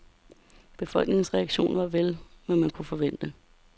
Befolkningens reaktio var vel, hvad man kunne forvente.